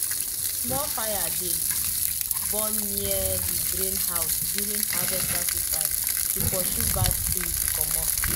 small fire dey burn near di grain house during harvest sacrifice to pursue bad spirits comot.